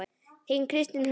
Þín Kristín Hulda.